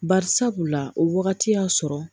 Bari sabula o wagati y'a sɔrɔ